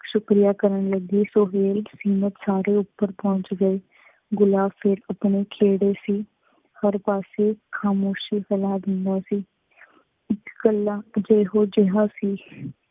ਸ਼ਕਰੀਆ ਕਰਨ ਲੱਗੀ। ਸੁਹੇਲ ਸਾਰੇ ਉੱਪਰ ਪਹੁੰਚ ਗਏ। ਗੁਲਾਬ ਫੇਰ ਆਪਣੇ ਖੇੜ੍ਹੇ ਸੀ। ਹਰ ਪਾਸੇ ਖ਼ਾਮੋਸ਼ੀ ਖਿਲਾਰ ਦਿੰਦਾ ਸੀ। ਇੱਕ ਇਕੱਲਾ ਇਹੋ ਜਿਹਾ ਸੀ,